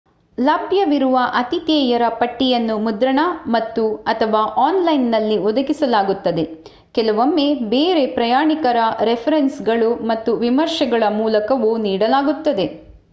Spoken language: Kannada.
ಲಭ್ಯವಿರುವ ಆತಿಥೇಯರ ಪಟ್ಟಿಯನ್ನು ಮುದ್ರಣ ಮತ್ತು/ಅಥವಾ ಆನ್‌ಲೈನ್‌ನಲ್ಲಿ ಒದಗಿಸಲಾಗುತ್ತದೆ ಕೆಲವೊಮ್ಮೆ ಬೇರೆ ಪ್ರಯಾಣಿಕರ ರೆಫರೆನ್ಸ್‌ಗಳು ಮತ್ತು ವಿಮರ್ಶೆಗಳ ಮೂಲಕವೂ ನೀಡಲಾಗುತ್ತದೆ